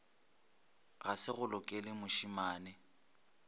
ga se go lokele mošemane